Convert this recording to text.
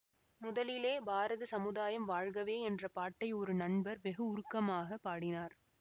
முதலிலே பாரத சமுதாயம் வாழ்கவே என்ற பாட்டை ஒரு நண்பர் வெகு உருக்கமாகப் பாடினார்